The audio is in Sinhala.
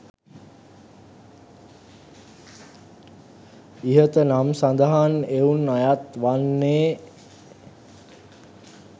ඉහත නම් සඳහන් එවුන් අයත් වන්නේ